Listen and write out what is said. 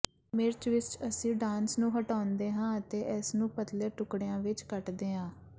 ਮਿਰਚ ਵਿਚ ਅਸੀਂ ਡਾਂਸ ਨੂੰ ਹਟਾਉਂਦੇ ਹਾਂ ਅਤੇ ਇਸ ਨੂੰ ਪਤਲੇ ਟੁਕੜਿਆਂ ਵਿਚ ਕੱਟਦੇ ਹਾਂ